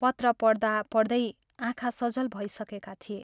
पत्र पढ्दा पढ्दै आँखा सजल भइसकेका थिए।